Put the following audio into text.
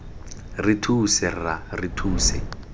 re thuse rra re thuse